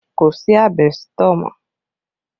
Kò sí àbẹ́sítọ̀ mọ́